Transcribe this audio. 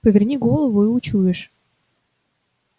поверни голову и учуешь